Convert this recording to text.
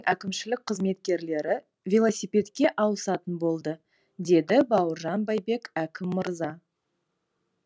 әкімшілік қызметкерлері велосипедке аусатын болды деді бауыржан байбек әкім мырза